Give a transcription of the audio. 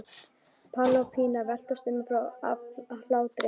Palli og Pína veltast um af hlátri.